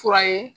Fura ye